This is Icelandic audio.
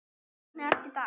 Hvernig ertu í dag?